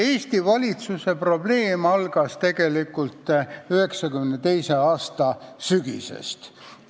Eesti valitsuse suuruse probleem sai tegelikult alguse 1992. aasta sügisel.